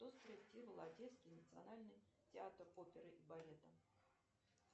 кто спроектировал одесский национальный театр оперы и балета